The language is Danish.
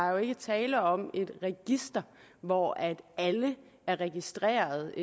jo ikke tale om et register hvor alle er registreret